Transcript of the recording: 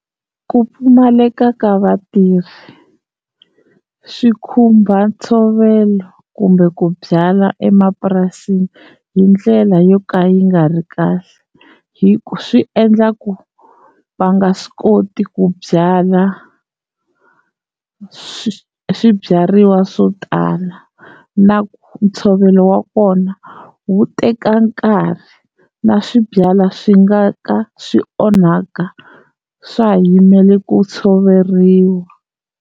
Ku pfumaleka ka vatirhi swi khumba ntshovelo kumbe ku byala emapurasini hi ndlela yo ka yi nga ri kahle hi ku swi endla ku va nga swi koti ku byala swi swibyariwa swo tala na ntshovelo wa kona wu teka nkarhi na swibyala swi nga ka swi onhaka swa ha yimele ku tshoveriwa.